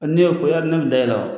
N'a y'a fɔ yali ne bɛ da e la